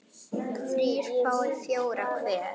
þrír fái fjóra hver